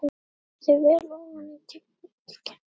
Sjáið þið vel ofan í gíginn?